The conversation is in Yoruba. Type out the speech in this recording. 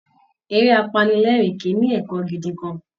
Eré apanilẹ́ẹ̀rín kì í ní ẹ̀kọ́ gidi kan